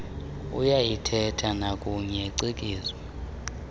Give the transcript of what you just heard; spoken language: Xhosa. uyayiithetha nakuye cikizwa